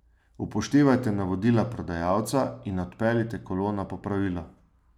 Upoštevajte navodila prodajalca in odpeljite kolo na popravilo.